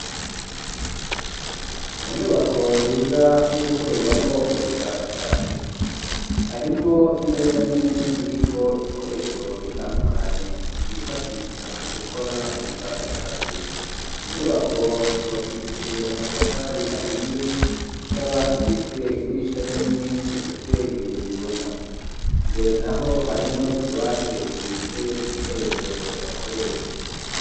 Mu nyubako nziza y'ugukorerwamwo ubushakashatsi harimwo imeza nini iriko ibikoresho bitandukanye kwifashisha mu gukora ubushakashatsi inyubako yubakishije amatafari ahiye ikaba ifise idirisha rinini ifise ibiyo bibona imbere na ho harimwo no tubate tubitse ibikoresho bakoresha.